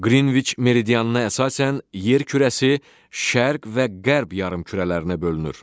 Qrinviç meridianına əsasən yer kürəsi şərq və qərb yarımkürələrinə bölünür.